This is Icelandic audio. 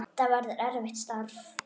Það verður erfitt starf.